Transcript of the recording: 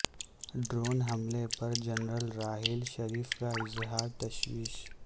drone حملے پر general Raheel Sharif کا اظہار تشویش